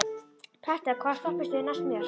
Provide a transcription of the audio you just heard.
Petter, hvaða stoppistöð er næst mér?